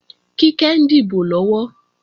Kíkẹ́ ń dìbò lọ́wọ́